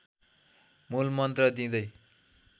मूल मन्त्र दिँदै